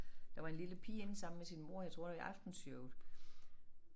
Der var en lille pige inde sammen med sin mor jeg tror det i Aftenshowet